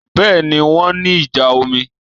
Bẹ́ẹ̀ni, wọ́n ní ìjà omi